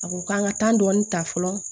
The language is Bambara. A ko k'an ka dɔɔnin ta fɔlɔ